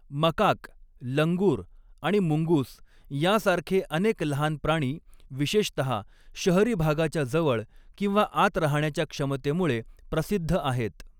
Macaque, लंगूर आणि मुंगूस यांसारखे अनेक लहान प्राणी विशेषतहा शहरी भागाच्या जवळ किंवा आत राहण्याच्या क्षमतेमुळे प्रसिद्ध आहेत.